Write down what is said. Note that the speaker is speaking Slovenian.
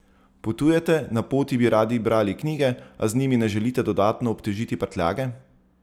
Potujete, na poti bi radi brali knjige, a z njimi ne želite dodatno obtežiti prtljage?